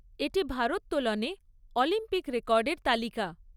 এটি ভারোত্তোলনে অলিম্পিক রেকর্ডের তালিকা।